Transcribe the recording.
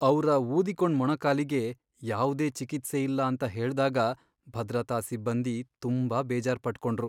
ಅವ್ರ ಊದಿಕೊಂಡ್ ಮೊಣಕಾಲಿಗೆ ಯಾವ್ದೇ ಚಿಕಿತ್ಸೆ ಇಲ್ಲ ಅಂತ ಹೇಳ್ದಾಗ ಭದ್ರತಾ ಸಿಬ್ಬಂದಿ ತುಂಬಾ ಬೇಜಾರ್ ಪಟ್ಕೊಂಡ್ರು.